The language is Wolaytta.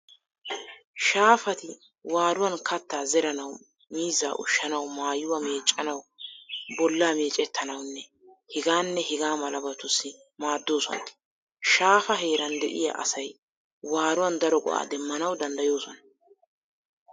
Shaafati waaruwan Kattaa zeranawu, miizzaa ushshanawu, maayuwaa meeccanawu, bolla meecettanawune hegaanne hegaa malabatussi maaddoosona. Shaafaa heeran de'iya asay waaruwan daro go"aa demmanawu daddayoosona.